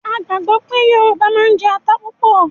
A gbàgbọ́ pé Yorùbá máa ń jẹ ata púpọ̀